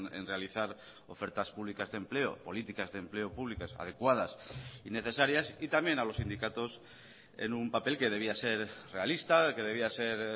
en realizar ofertas públicas de empleo políticas de empleo públicas adecuadas y necesarias y también a los sindicatos en un papel que debía ser realista que debía ser